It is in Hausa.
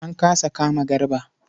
An kasa kama Garba.